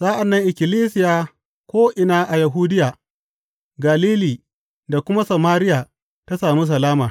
Sa’an nan ikkilisiya ko’ina a Yahudiya, Galili da kuma Samariya ta sami salama.